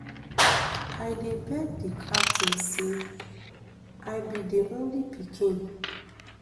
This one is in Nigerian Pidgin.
i dey beg di captain say i be di only pikin